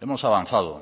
hemos avanzado